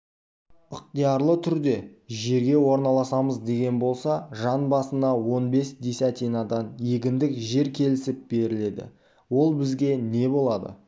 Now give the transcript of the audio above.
ықтиярлы түрде жерге орналасамыз деген болса жан басына он бес десятинадан егіндік жер кесіліп беріледі ол бізге не болады